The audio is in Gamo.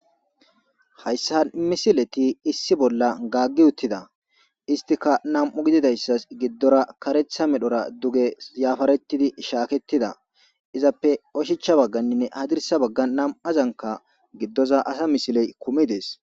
Hayssa misileti issi bolla gaaggi uttida istika nam7u gididayssas giddora karetha medhora duge yaafaretidi shaaketida izappe oshicha bagganninne hadirsa baggan nam7azanka giddoza asa misiley kumidees